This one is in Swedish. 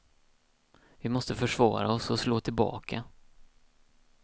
Vi måste försvara oss och slå tillbaka.